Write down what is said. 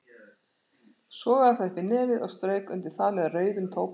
Sogaði það upp í nefið og strauk undir það með rauðum tóbaksklút.